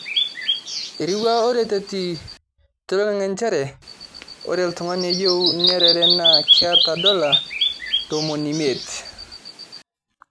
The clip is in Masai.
Eiriwua oratioti toling'ang'e njere ore olntung'ani oyieu niarare naa keeeta dola notmoni imiet